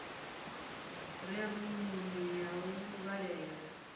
re rumuni ya u vhalela